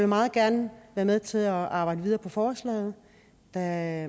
meget gerne være med til at arbejde videre med forslaget da